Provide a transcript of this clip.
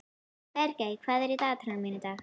Bergey, hvað er í dagatalinu mínu í dag?